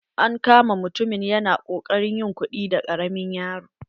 An kama mutumin ya na kokarin yin kuɗi da ƙaramin yaro.